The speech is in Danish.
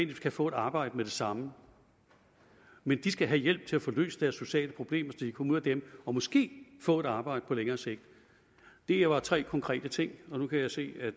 kan få et arbejde med det samme men de skal have hjælp til at få løst deres sociale problemer så de kan komme ud af dem og måske få et arbejde på længere sigt det her var tre konkrete ting og nu kan jeg se at